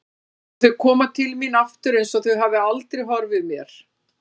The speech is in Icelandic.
Og þau koma til mín aftur einsog þau hafi aldrei horfið mér.